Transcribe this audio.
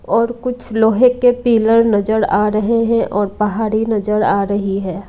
और कुछ लोहे के पीलर नजर आ रहे है और पहाड़ी नजर आ रही है।